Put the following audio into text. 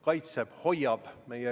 Palun võtta seisukoht ja hääletada!